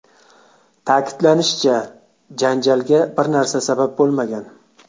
Ta’kidlanishicha, janjalga bir narsa sabab bo‘lmagan.